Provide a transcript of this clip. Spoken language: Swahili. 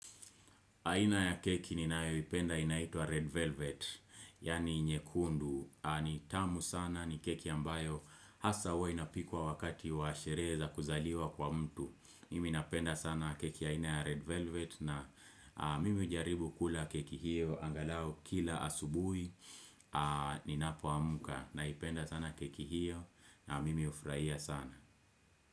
Aina ya keki ni nayo ipenda inaitwa Red Velvet, yani nyekundu, ni tamu sana ni keki ambayo hasa huwa inapikwa wakati wa sherehe za kuzaliwa kwa mtu. Mimi napenda sana keki ya ina ya Red Velvet na mimi hujaribu kula keki hiyo angalao kila asubuhi ni napo amka na ipenda sana keki hiyo na mimi hufurahia sana.